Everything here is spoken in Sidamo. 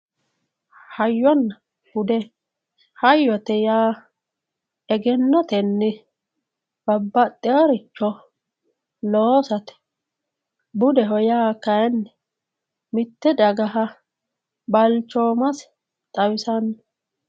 hayyonna bude hayyote yaa egennotenni babbaxxewooricho loosate budeho yaa kayiinni mitte dagaha balchoomase xawisanno.